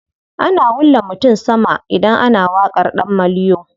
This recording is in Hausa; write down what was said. Ana wulla mutum sama idan ana waƙar ɗan maliyo.